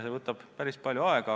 See võtaks päris palju aega.